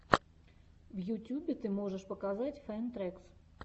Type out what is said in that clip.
в ютьюбе ты можешь показать фэн трэкс